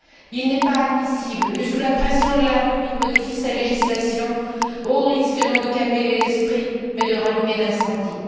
Il n'est pas admissible que, sous la pression de la rue, il modifie sa législation, au risque, non de calmer les esprits, mais de rallumer l'incendie.